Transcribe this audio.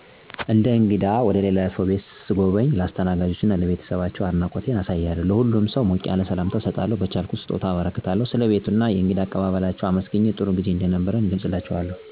እንደ እንግዳ ወደ ልላ ሰው ቤት ሰጎበኝ ለአስተናጋጁ እና ለቤተሰባቸው አድናቆት እና አክብሮቴን አሳያለሁ። ለሁሉም ሰው ሞቅ ያለ ሰላምታ እሰጣለሁ፣ በቻልኩት የወሰድኩላቸውን ሰጦታ አበረክታለሁ፣ ንግግሮቼን በአግባብ አደረጌ እነሱን በፅሞና እና በትኩረት አደምጣለሁ፣ የቤት ደንቦችን ወይም ህጎች ካሉ ከዛ ላለመውጣት እራሴን እገዛለሁ። ስለ ቤቱ እና የእንግዳ አቀባበላችው አመሰግኘ ጥሩጊዜ እንደነበረ ደስተኛ እንደሆንኩ እገለፅላችዋለሁ።